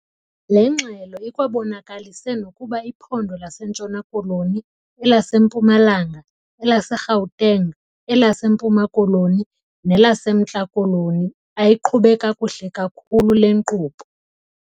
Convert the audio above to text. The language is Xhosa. Le ngxelo ikwabonakalise nokuba iphondo laseNtshona Koloni, elaseMpumalanga, elaseGauteng, elaseMpuma Koloni, nelaseMntla Koloni ayiqhube kakuhle kakhulu le nkqubo.